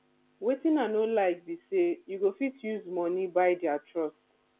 wetin i no like be say you go fit use money buy their trust